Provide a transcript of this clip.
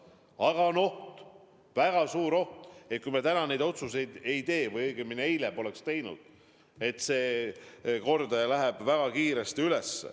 Aga on oht, väga suur oht, et kui me täna neid otsuseid ei tee või õigemini eile poleks teinud, siis see kordaja läheb väga kiiresti üles.